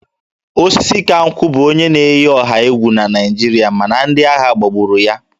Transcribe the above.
Osisikankwu bụ onye na-eyi ọha egwu na Naịjirịa ma ndị agha gbagburu ya